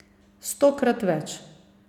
Stokrat več.